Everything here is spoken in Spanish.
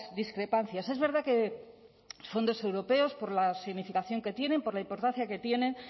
discrepancias es verdad que los fondos europeos por la significación que tienen por la importancia que tienen